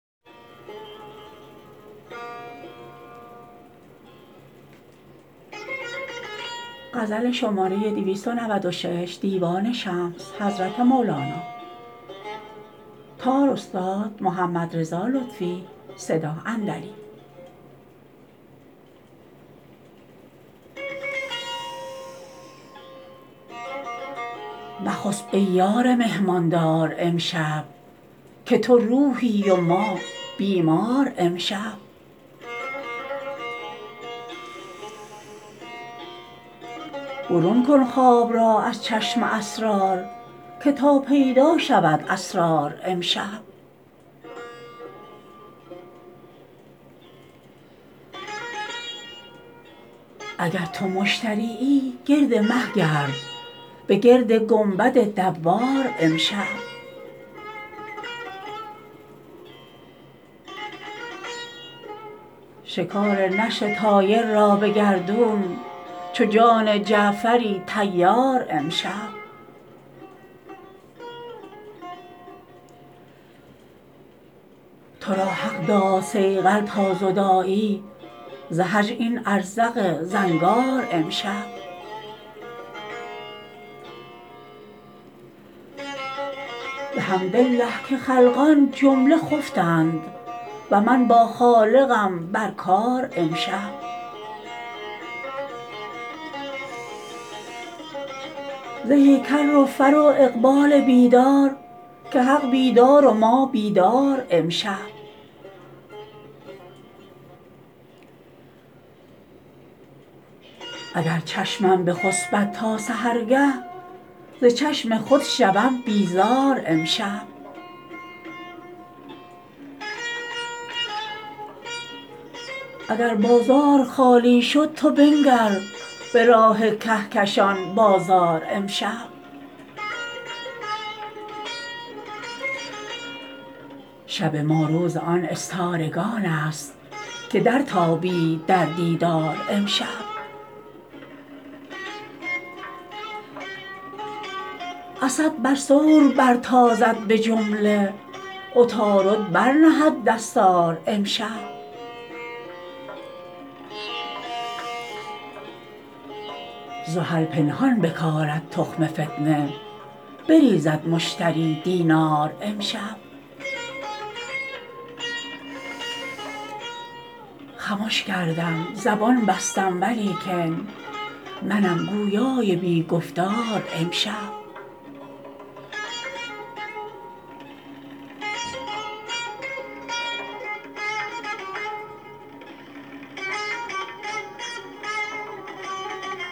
مخسب ای یار مهمان دار امشب که تو روحی و ما بیمار امشب برون کن خواب را از چشم اسرار که تا پیدا شود اسرار امشب اگر تو مشترییی گرد مه گرد بگرد گنبد دوار امشب شکار نسر طایر را به گردون چو جان جعفر طیار امشب تو را حق داد صیقل تا زدایی ز هجران ازرق زنگار امشب بحمدالله که خلقان جمله خفتند و من بر خالقم بر کار امشب زهی کر و فر و اقبال بیدار که حق بیدار و ما بیدار امشب اگر چشمم بخسبد تا سحرگه ز چشم خود شوم بیزار امشب اگر بازار خالی شد تو بنگر به راه کهکشان بازار امشب شب ما روز آن استارگان ست که درتابید در دیدار امشب اسد بر ثور برتازد به جمله عطارد برنهد دستار امشب زحل پنهان بکارد تخم فتنه بریزد مشتری دینار امشب خمش کردم زبان بستم ولیکن منم گویای بی گفتار امشب